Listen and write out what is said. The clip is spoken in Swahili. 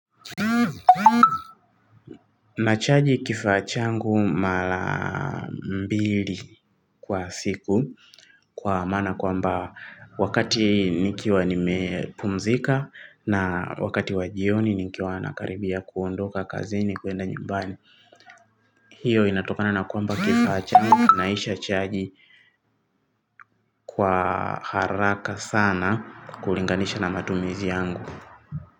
Na chaji kifaa changu mala mbili kwa siku kwa mana kwamba wakati nikiwa nimepumzika na wakati wa jioni nikiwa nakaribia kuondoka kazini kuenda nyumbani. Hiyo inatokana na kwamba kifaa changu kinaisha chaji kwa haraka sana kulinganisha na matumizi yangu.